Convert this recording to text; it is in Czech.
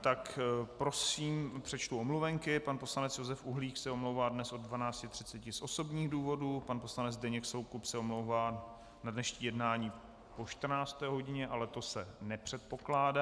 tak prosím přečtu omluvenky: pan poslanec Josef Uhlík se omlouvá dnes od 12.30 z osobních důvodů, pan poslanec Zdeněk Soukup se omlouvá na dnešní jednání po 14. hodině, ale to se nepředpokládá.